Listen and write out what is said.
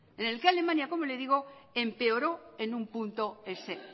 empeoró en un punto ese